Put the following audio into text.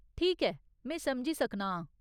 ठीक ऐ, में समझ सकना आं।